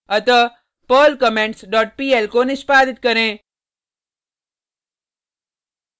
अतः perl comments dot pl को निष्पादित करें